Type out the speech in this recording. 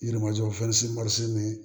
Yirimajɔ fɛn si ma se nin ye